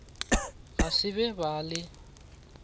ga se be ba le